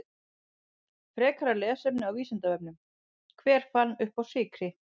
Frekara lesefni á Vísindavefnum: Hver fann uppá sykri?